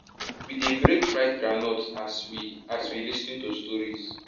we dey break fried groundnuts as we as we lis ten to stories